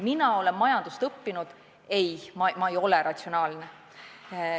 Mina olen majandust õppinud, aga ei, ma ei ole ratsionaalne.